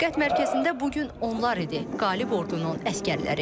Diqqət mərkəzində bu gün onlar idi, qalib ordunun əsgərləri.